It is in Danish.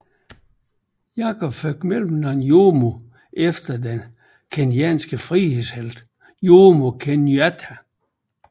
Jacob fik mellemnavnet Jomo efter den kenyanske frihedshelt Jomo Kenyatta